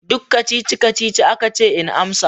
Duk kacici-kacici aka ce in amsa.